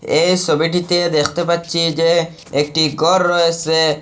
এই সোবিটিতে দেখতে পাচ্ছি যে একটি গর রয়েসে।